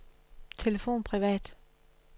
telefon privat